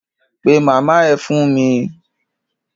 Pe màmá ẹ fún mi!